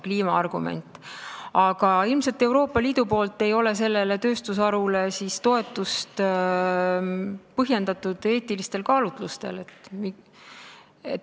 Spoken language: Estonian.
Ilmselt ei ole Euroopa Liidus peetud selle tööstusharu toetamist põhjendatuks eetilistel kaalutlustel.